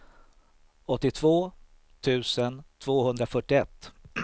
åttiotvå tusen tvåhundrafyrtioett